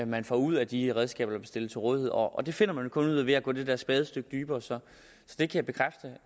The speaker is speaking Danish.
man får ud af de redskaber der bliver stillet til rådighed og det finder man vel kun ud af ved at gå det der spadestik dybere så jeg kan bekræfte